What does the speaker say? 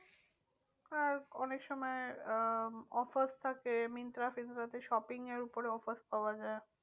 আর অনেক সময় আহ offers থাকে মিন্ত্রা ফিন্ত্রা তে shopping এর ওপরে offers পাওয়া যায়।